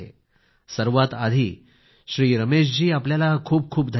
सर्वात आधी रमेशजी आपल्याला खूप खूप धन्यवाद